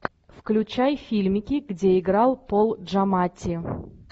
включай фильмики где играл пол джаматти